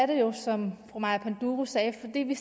det jo som fru maja panduro sagde fordi